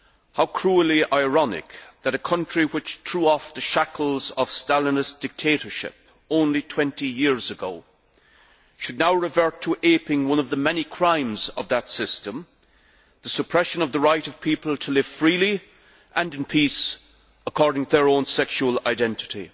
How cruelly ironic that a country which threw off the shackles of Stalinist dictatorship only 20 years ago should now revert to aping one of the many crimes of that system the suppression of the right of people to live freely and in peace according to their own sexual identity.